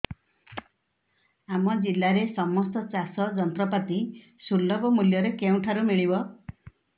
ଆମ ଜିଲ୍ଲାରେ ସମସ୍ତ ଚାଷ ଯନ୍ତ୍ରପାତି ସୁଲଭ ମୁଲ୍ଯରେ କେଉଁଠାରୁ ମିଳିବ